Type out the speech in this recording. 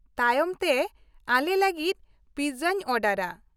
ᱛᱟᱭᱚᱢ ᱛᱮ ᱟᱞᱮ ᱞᱟᱹᱜᱤᱫ ᱯᱤᱡᱡᱟᱧ ᱚᱰᱟᱨᱼᱟ ᱾